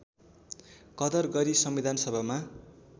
कदर गरी संविधानसभामा